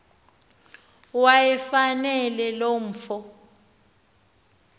wayefanele lo mfo